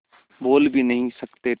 बोल भी नहीं सकते थे